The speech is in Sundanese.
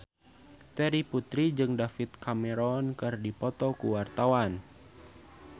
Terry Putri jeung David Cameron keur dipoto ku wartawan